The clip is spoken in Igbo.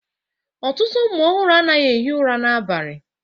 Ọtụtụ ụmụ ọhụrụ anaghị ehi ụra n'abalị